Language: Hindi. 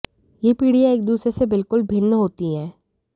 ये पीढ़ियाँ एक दूसरी से बिलकुल भिन्न होती हैं